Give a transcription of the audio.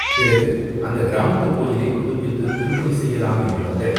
பிறகு அந்தக் கிராமத்துக் கோயிலைப் புதுப்பித்து திருப்பணி செய்யலாம் என்று வந்த.